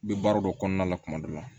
N bɛ baara dɔ kɔnɔna la kuma dɔ la